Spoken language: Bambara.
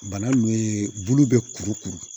Bana nunnu ye bulu bɛ kuru kuru